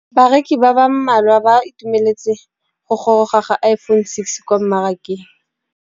Bareki ba ba malwa ba ituemeletse go gôrôga ga Iphone6 kwa mmarakeng.